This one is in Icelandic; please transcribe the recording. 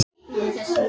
Já, hvað fólk varðar.